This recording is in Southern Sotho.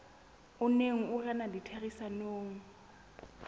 o neng o rena ditherisanong